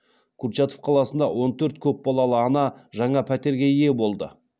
курчатов қаласында он төрт көпбалалы ана жаңа пәтерге ие болды